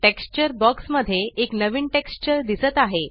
texture box मध्ये एक नवीन टेक्स्चर दिसत आहे